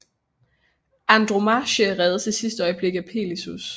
Andromache reddes i sidste øjeblik af Peleus